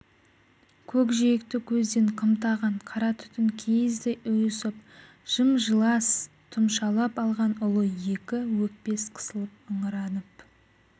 көкжиекті көзден қымтаған қара түтін киіздей ұйысып жым-жылас тұмшалап алған ұлы екі өкпес қысылып ыңыранып